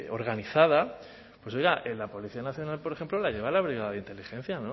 organizada pues en la policía nacional por ejemplo lo lleva la brigada de inteligencia